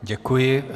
Děkuji.